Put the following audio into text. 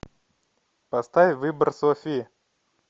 поставь выбор софи